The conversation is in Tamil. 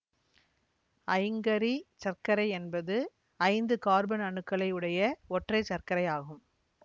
ஐங்கரி சர்க்கரை என்பது ஐந்து கார்பன் அணுக்களை உடைய ஒற்றைச்சர்க்கரை ஆகும்